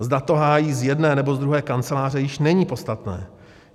Zda to hájí z jedné nebo z druhé kanceláře již není podstatné.